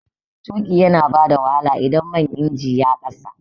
Tuƙi yana bada wahala idan man injin ya kasa